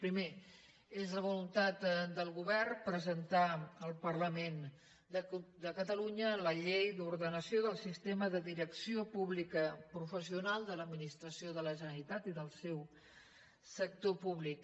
primer és la voluntat del govern presentar al parlament de catalunya la llei d’ordenació del sistema de direcció pública professional de l’administració de la generalitat i del seu sector públic